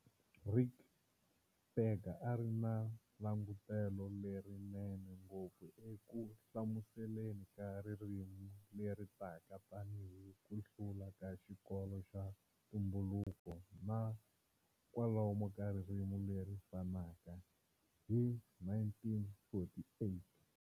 Ric Berger a ri na langutelo lerinene ngopfu eku hlamuseleni ka ririmi leri taka tanihi ku hlula ka xikolo xa ntumbuluko na"kwalomu ka ririmi leri fanaka" hi 1948.